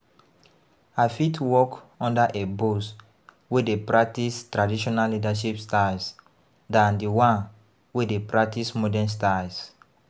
I fit work under a boss wey dey practice traditional leadership styles than di one wey dey practice modern styles.